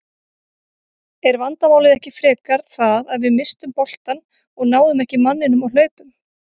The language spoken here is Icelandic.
Er vandamálið ekki frekar það að við misstum boltann og náðum ekki manninum á hlaupum?